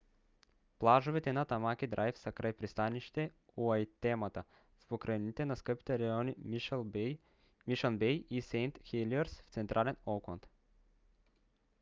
плажовете на тамаки драйв са край пристанище уайтемата в покрайнините на скъпите райони мишън бей и сейнт хелиърс в централен оукланд